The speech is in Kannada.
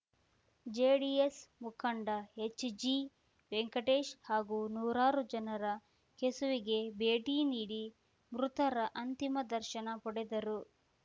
ಜೆಡಿಎಸ್‌ ಮುಖಂಡ ಹೆಚ್‌ಜಿ ವೆಂಕಟೇಶ್‌ ಹಾಗೂ ನೂರಾರು ಜನರು ಕೆಸುವೆಗೆ ಭೇಟಿ ನೀಡಿ ಮೃತರ ಅಂತಿಮ ದರ್ಶನ ಪಡೆದರು